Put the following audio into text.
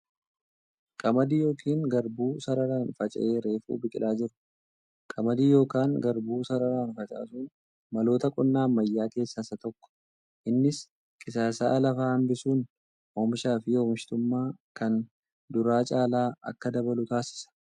Qamadii yookiin garbuu sararaan faca'ee reefu biqilaa jiru. Qamadii yookan garbuu sararaan facaasuun maloota qonnaa ammayyaa keessaa isa tokko. Innis qisaasa'a lafaa hambisuun oomishaa fi oomishtummaan kan duraa caala akka dabalu taasisa.